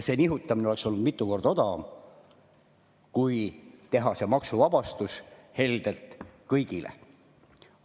See nihutamine oleks olnud mitu korda odavam, kui teha heldelt kõigile maksuvabastus.